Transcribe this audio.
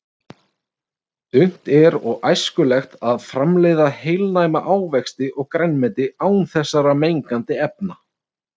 Unnt er og æskilegt að framleiða heilnæma ávexti og grænmeti án þessara mengandi efna.